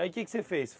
Aí, o que que você fez?